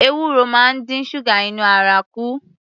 Ewuro máa ń dín ṣúgà inú ara kù